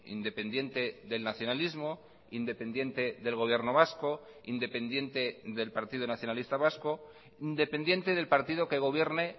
independiente del nacionalismo independiente del gobierno vasco independiente del partido nacionalista vasco dependiente del partido que gobierne